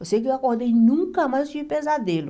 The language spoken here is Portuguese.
Eu sei que eu acordei e nunca mais tive pesadelo.